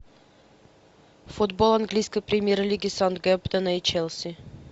футбол английской премьер лиги саутгемптона и челси